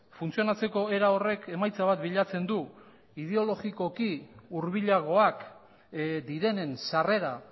funtzionatzeko era horrek emaitza bat bilatzen du ideologikoki hurbilagoak direnen sarrera